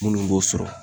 Minnu b'o sɔrɔ